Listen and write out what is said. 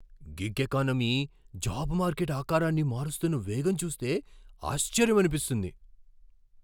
Gig economy job market ఆకారాన్ని మారుస్తున్న వేగం చూస్తే ఆశ్చర్యమనిపిస్తుంది.